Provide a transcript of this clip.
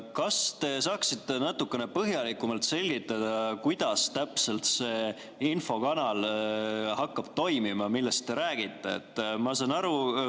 Kas te saaksite natukene põhjalikumalt selgitada, kuidas täpselt see infokanal hakkab toimima, millest te räägite?